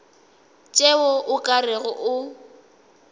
tšeo o ka rego o